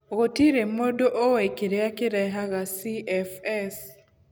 Gũtirĩ mũndũ ũĩ kĩrĩa kĩrehaga CFS.